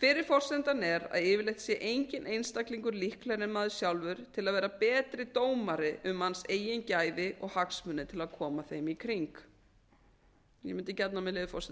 fyrri forsendan er að yfirleitt sé enginn einstaklingur líklegri en maður sjálfur til að vera betri dómari um manns eigin gæði og hagsmuni og til að koma þeim í kring ég mundi gjarnan vilja með leyfi forseta